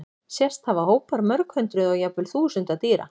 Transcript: Sést hafa hópar mörg hundruð og jafnvel þúsunda dýra.